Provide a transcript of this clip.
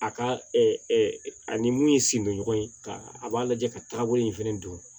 A ka ani mun ye sen don ɲɔgɔn ye ka a b'a lajɛ ka taga bolo in fɛnɛ dun